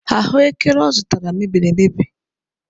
Ahụekere ọ zụtara mebiri emebi.